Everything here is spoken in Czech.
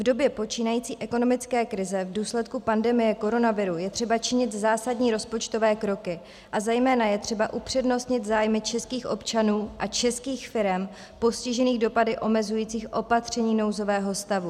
V době počínající ekonomické krize v důsledku pandemie koronaviru je třeba činit zásadní rozpočtové kroky a zejména je třeba upřednostnit zájmy českých občanů a českých firem postižených dopady omezujících opatření nouzového stavu.